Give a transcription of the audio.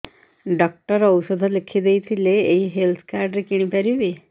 doctor ଔଷଧ ଲେଖିଦେଇଥିଲେ ଏଇ ହେଲ୍ଥ କାର୍ଡ ରେ କିଣିପାରିବି